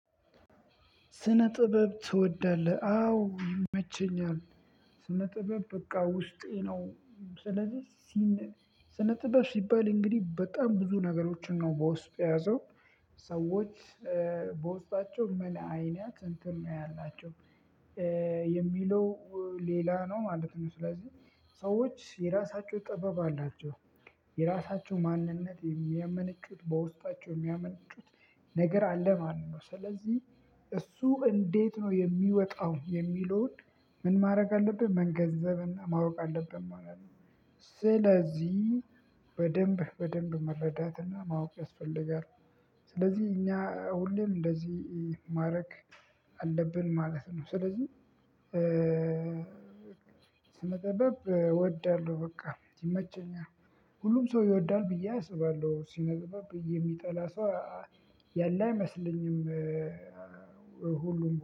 ስነ ጥበብ ትወዳለህ? አዎ ይመቸኛል ስነ ጥበብ በቃ ውስጤ ነው። ስለዚህ ስነ ጥበብ ሲባል እንግዲህ በጣም ብዙ ነገሮችን ነው በውስጡ የያዘው ሰዎች በውስጣቸው ምን አይናት እንትን ነው ያላቸው የሚለው ሌላ ነው ማለት ነው። ስለዚህ ሰዎች የራሳቸው ጥበብ አላቸው የራሳቸው ማንነት የሚያመነጩት በውስጣቸው የሚያመነጩት ነገር አለ ማን ነው። ስለዚህ እሱ እንዴት ነው የሚወጣው የሚለውን ምን ማድረግ አለብን መንገዘብና ማወቅ አለብን ማለት ነው። ስለዚህ በደንብ በደንብ መረዳትና ማወቅ ያስፈልጋል። ስለዚህ እኛ ሁሌም እንደዚህ ማድረግ አለብን ማለት ነው። ስለዚህ ስነ ጥበብ እወዳለሁ። በቃ ይመቸኛል። ሁሉም ሰው ይወዳል ብዬም አስባለሁ። ስነ ጥበብን የሚጠላ ሰው ያለ አይመስለኝም።